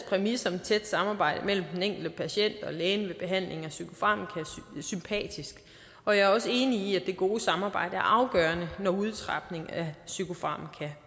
præmis om et tæt samarbejde mellem den enkelte patient og lægen ved behandling med psykofarmaka sympatisk og jeg er også enig i at det gode samarbejde er afgørende når udtrapning af psykofarmaka